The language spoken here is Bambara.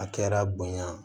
A kɛra bonya